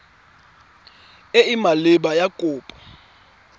e e maleba ya kopo